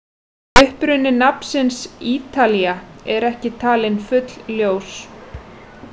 Uppruni nafnsins Ítalía er ekki talinn fullljós.